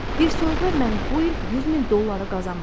Bir sözlə, mən bu il 100 min dolları qazanmadım.